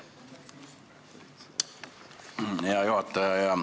Hea juhataja!